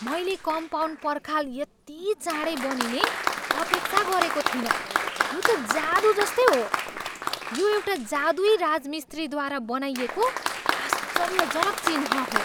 मैले कम्पाउन्ड पर्खाल यति चाँडै बनिने अपेक्षा गरेको थिइनँ, यो त जादु जस्तै हो! यो एउटा जादुई राजमिस्त्रीद्वारा बनाइएको आश्चर्यजनक चिह्न हो।